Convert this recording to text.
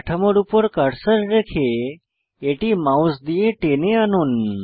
কাঠামোর উপর কার্সার রেখে এটি মাউস দিয়ে টেনে আনুন